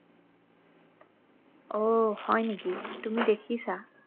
অ হয় নেকি তুমি দেখিছা